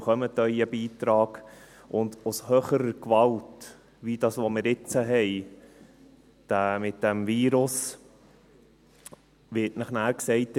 Sie erhalten Ihren Beitrag, und aufgrund höherer Gewalt, wie wir es jetzt mit diesem Virus erleben, wird Ihnen nachher gesagt: